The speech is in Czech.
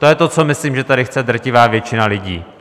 To je to, co myslím, že tady chce drtivá většina lidí.